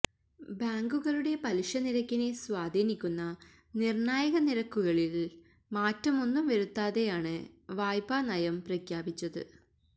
ബാങ്കുകളുടെ പലിശനിരക്കിനെ സ്വാധീനിക്കുന്ന നിര്ണായക നിരക്കുകളില് മാറ്റമൊന്നും വരുത്താതെയാണ് വായ്പാനയം പ്രഖ്യാപിച്ചത്